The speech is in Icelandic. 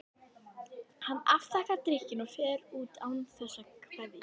Hann afþakkar drykkinn og fer út án þess að kveðja.